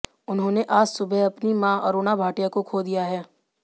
उन्होंने आज सुबह अपनी मां अरुणा भाटिया को खो दिया है